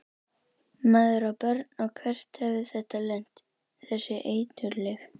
Maður á börn og hvert hefði þetta lent, þessi eiturlyf?